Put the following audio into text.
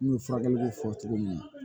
N'u ye furakɛliw fɔ cogo min na